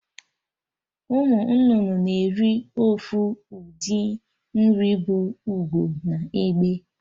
Ụmụ nnụnụ na-eri ofu ụdị nri bụ Ugo na Egbe